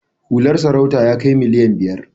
Hular sarautar ya kai miliyan biyar.